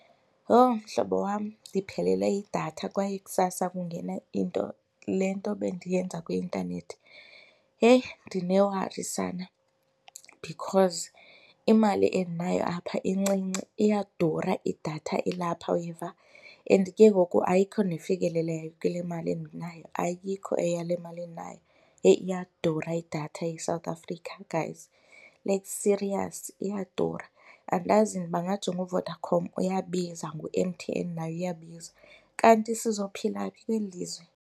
Yho, mhlobo wam ndiphelelwe yidatha kwaye kusasa kungena into le nto bendiyenza kwi-intanethi. Yheyi, ndinewari sana because imali endinayo apha incinci. Iyadura idatha elapha uyeva and ke ngoku ayikho nefikelelekayo kule mali endinayo, ayikho eyale mali endinayo. Yheyi, iyadura idatha e-South Africa guys. Like serious, iyadura. Andazi ndibangajonga uVodacom uyabiza, ngu-M_T_N naye uyabiza. Kanti sizophila phi kweli lizwe?